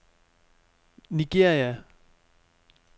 Nigeria